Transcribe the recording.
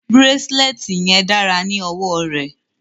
The bracelet looks beautiful on her wrist